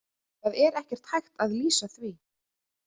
Það er ekkert hægt að lýsa því.